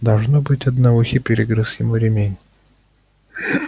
должно быть одноухий перегрыз ему ремень